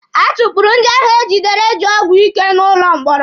A tukpuru ndị ahụ egidere ji ọgwụ ike n'ụlọ mkpọrọ.